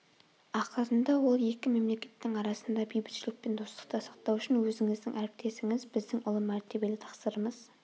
ақырында ол екі мемлекеттің арасында бейбітшілік пен достықты сақтау үшін өзіңіздің әріптесіңіз біздің ұлы мәртебелі тақсырымыз